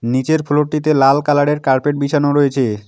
নীচের ফ্লোর -টিতে লাল কালার -এর কার্পেট বিছানো রয়েছে।